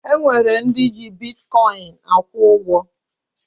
E nwere ndị ji bitkọyịn akwụ ụgwọ